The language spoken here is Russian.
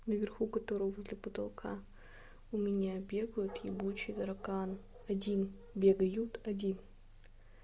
наверху которого возле потолка у меня бегают ебучий таракан один бегают один